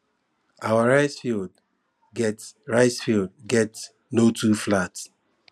our rice field get rice field get no too flat